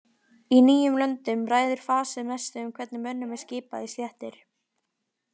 Í nýjum löndum ræður fasið mestu um hvernig mönnum er skipað í stéttir.